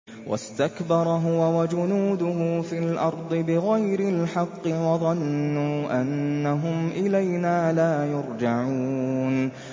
وَاسْتَكْبَرَ هُوَ وَجُنُودُهُ فِي الْأَرْضِ بِغَيْرِ الْحَقِّ وَظَنُّوا أَنَّهُمْ إِلَيْنَا لَا يُرْجَعُونَ